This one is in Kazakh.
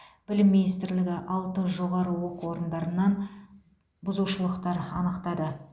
білім министрлігі алты жоғары оқу орындарынан бұзушылықтар анықтады